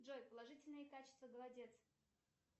джой положительные качества голодец